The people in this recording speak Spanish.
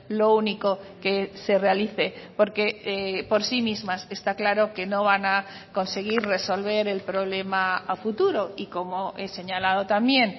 lo único que se realice porque por sí mismas está claro que no van a conseguir resolver el problema a futuro y como he señalado también